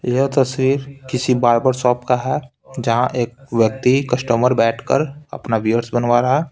यह तस्वीर किसी बार्बर शॉप का है जहाँ एक व्यक्ति कस्टमर बैठकर अपना बीयर्स बनवा रहा है।